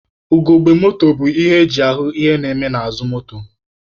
Ugogbe moto bụ ihe eji ahụ ihe na-eme n'azụ moto.